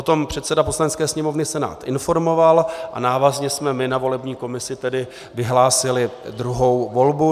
O tom předseda Poslanecké sněmovny Senát informoval a návazně jsme my na volební komisi tedy vyhlásili druhou volbu.